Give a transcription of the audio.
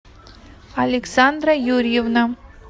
александра юрьевна